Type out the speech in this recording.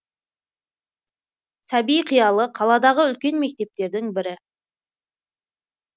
сәби қиялы қаладағы үлкен мектептердің бірі